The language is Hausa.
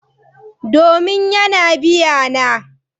Domin yana biya na.